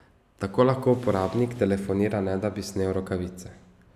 Tako lahko uporabnik telefonira ne da bi snel rokavice.